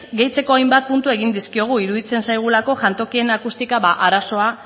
gehitzeko hainbat puntu egin dizkiogu iruditzen zaigulako jantokien akustika arazoa